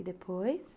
E depois?